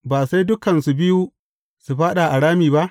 Ba sai dukansu biyu su fāɗa a rami ba?